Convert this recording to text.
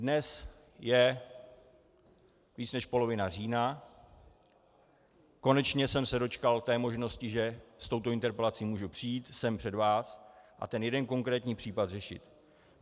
Dnes je víc než polovina října, konečně jsem se dočkal té možnosti, že s touto interpelací mohu přijít sem před vás a ten jeden konkrétní případ řešit.